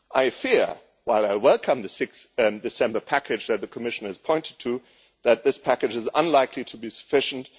I fear, while I welcome the 6 December package that the Commission has pointed to, that this package is unlikely to be sufficient.